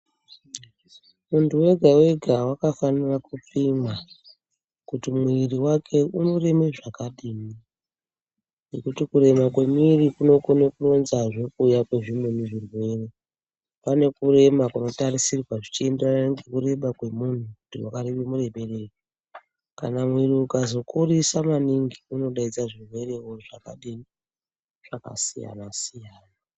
Muntu wega wega wakafanire kupima kuti mwiri wake unoreme zvakadini nekuti kurema kwemwiri kunoka kuronzazve kuuya kwezvimweni zvirwere pane kurema kunotarisirwa zvichienderana nekureba kwemunhu kuti wakarebe mureberei kana mwiri ukazokurisa maningi unodaidzawo zvirwere zvakadini, zvakasiyanasiyana.